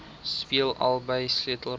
speel albei sleutelrolle